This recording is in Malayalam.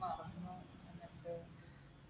മറന്നു